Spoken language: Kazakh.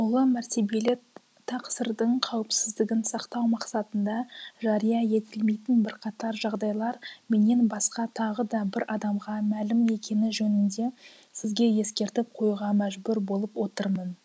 ұлы мәртебелі тақсырдың қауіпсіздігін сақтау мақсатында жария етілмейтін бірқатар жағдайлар менен басқа тағы да бір адамға мәлім екені жөнінде сізге ескертіп қоюға мәжбүр болып отырмын